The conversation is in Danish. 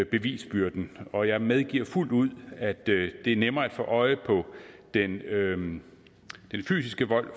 bevisbyrden og jeg medgiver fuldt ud at det er nemmere at få øje på den fysiske vold